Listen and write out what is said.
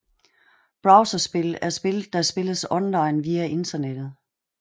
Browserspil er spil der spilles online via Internettet